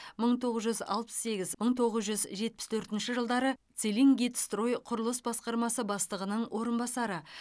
мың тоғыз жүз алпыс сегіз мың тоғыз жүз жетпіс төртінші жылдары целингидрострой құрылыс басқармасы бастығының орынбасары